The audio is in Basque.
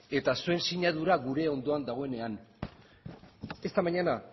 eta zuen sinadura gure ondoan dagoenean esta mañana